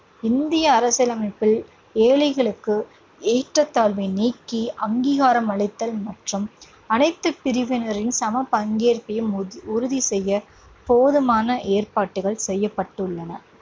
இந்திய அரசியலமைப்பில் ஏழைகளுக்கு ஏற்றத்தாழ்வை நீக்கி அங்கீகாரம் அளித்தல் மற்றும் அனைத்து பிரிவினரின் சம பங்கேற்பையும் உறுதி உறுதி செய்யப் போதுமான ஏற்பாடுகள் செய்யப்பட்டுள்ளன.